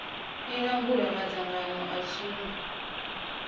i langula madzangano a sumbe